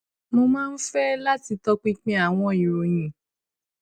mo máa ń fẹ láti tọpinpin àwọn ìròyìn